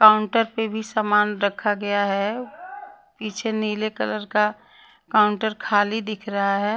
Counter पे भी सामान रखा गया है पीछे नीले कलर का काउंटर खाली दिख रहा है।